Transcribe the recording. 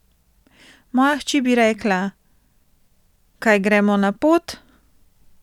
Moja hči bi rekla: 'Kaj gremo na pot?